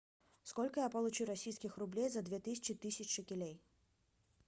сколько я получу российских рублей за две тысячи тысяч шекелей